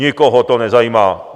Nikoho to nezajímá.